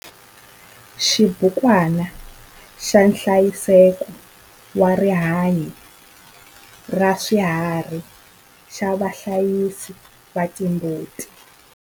Xibukwana xa nhlayiseko wa rihanyo ra swiharhi xa vahlayisi va timbuti.